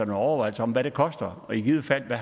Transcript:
overvejelser om hvad det koster og i givet fald hvad